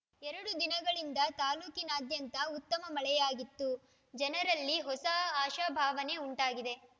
ಎರಡು ದಿನಗಳಿಂದ ತಾಲೂಕಿನಾದ್ಯಂತ ಉತ್ತಮ ಮಳೆಯಾಗಿತ್ತು ಜನರಲ್ಲಿ ಹೊಸ ಆಶಾಭಾವನೆ ಉಂಟಾಗಿದೆ